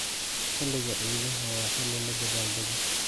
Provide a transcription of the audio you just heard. Xiliga ciidaha waa xilli la dabaaldego.